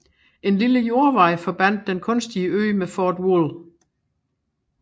En lille jordvej forbandt den kunstige ø med Fort Wool